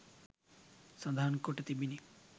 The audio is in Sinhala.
සඳහන් කොට තිබිණි